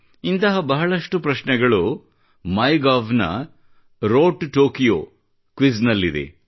ಇಂತಹ ಬಹಳಷ್ಟು ಪ್ರಶ್ನೆಗಳ ಮೈ ಗೌ ನ ರೋಡ್ ಟು ಟೊಕೊಯೋ ಕ್ವಿಜ್ ನಲ್ಲಿದೆ